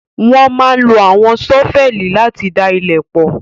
Wọ́n máa ń lo àwọn ṣọ́fẹlì láti da ilẹ̀ pọ̣̀